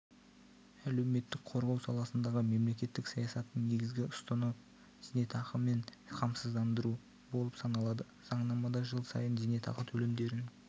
әлеуметтік қорғау саласындағы мемлекеттік саясаттың негізгі ұстыны зейнетақымен қамсыздандыру болып саналады заңнамада жыл сайын зейнетақы төлемдерін